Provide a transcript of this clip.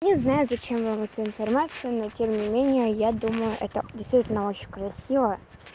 не знаю зачем вам эта информация но тем не менее я думаю это действительно очень красива